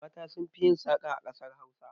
Mata sun fi yin saƙa a ƙasar Hausa.